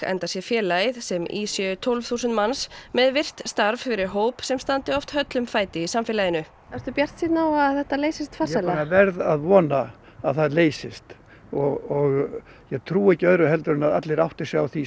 enda sé félagið sem í séu tólf þúsund manns með virkt starf fyrir hóp sem standi oft höllum fæti í samfélaginu ertu bjartsýnn að þetta leysist farsællega verð að vona að það leysist og ég trúi ekki öðru en að allir átti sig á því